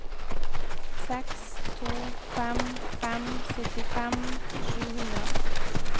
seks to fem fem syttifem sju hundre